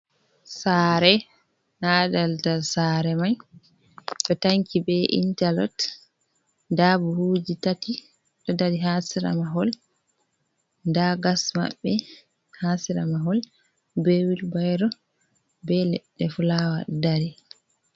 Saare. Na daldal saare mai ɗo tanki be intalot, nda buhuuji tati ɗo dari haa sera mahol, nda gas maɓɓe haa sera mahol, be wilbayro, be leɗɗe fulaawa ɗo dari.